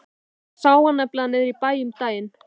Ég sá hann nefnilega niðri í bæ um daginn.